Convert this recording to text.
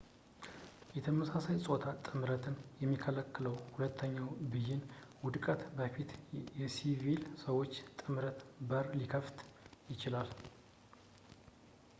የተመሳሳይ ፆታ ጥምረትን የሚከለክለው የሁለተኛው ብይን ውድቀት ወደፊት ለሲቪል ሰዎች ጥምረት በር ሊከፍት ይችላል